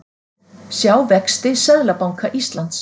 Sjá vexti Seðlabanka Íslands